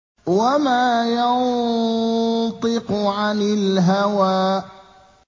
وَمَا يَنطِقُ عَنِ الْهَوَىٰ